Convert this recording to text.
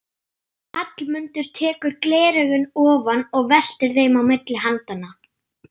Hallmundur tekur gleraugun ofan og veltir þeim á milli handanna.